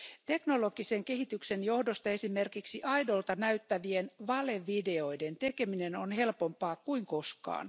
Teknologisen kehityksen johdosta esimerkiksi aidolta näyttävien valevideoiden tekeminen on helpompaa kuin koskaan.